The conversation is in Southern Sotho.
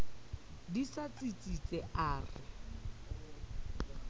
di sa tsitsitse a re